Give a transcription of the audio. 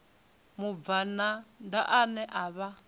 mubvann ḓa ane a vha